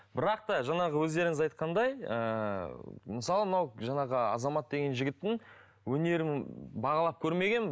бірақ та жаңағы өздеріңіз айтқандай ыыы мысалы мынау жаңағы азамат деген жігіттің өнерін бағалап көрмегенмін